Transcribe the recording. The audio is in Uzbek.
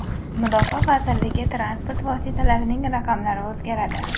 Mudofaa vazirligi transport vositalarining raqamlari o‘zgaradi.